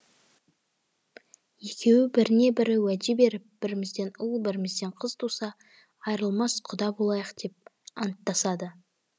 екеуі біріне бірі уәде беріп бірімізден ұл бірімізден қыз туса айырылмас құда болайық деп анттасады